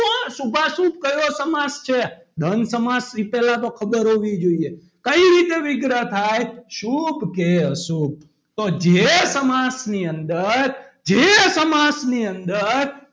પણ શુભાશુભ શું કયો સમાસ છે દ્વંદ સમાસ વિશેના તો ખબર હોવી જોઈએ કઈ રીતે વિગ્રહ થાય શુભ કે અશુભ તો જે સમાસની અંદર જે સમાસ ની અંદર,